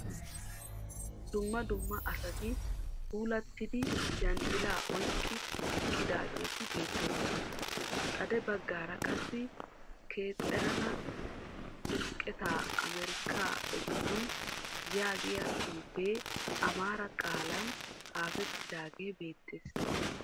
Dumma dumma asati puulattida yanxxilaa oyikki eqqidaageeti beettoosona. Xade baggaara qassi "keterana ximqqataa amerikaa ogetun" yaagiya xuufee amaara qaalan xaafettidaagee beettes.